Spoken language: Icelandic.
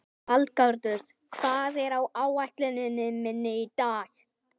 Valgarður, hvað er á áætluninni minni í dag?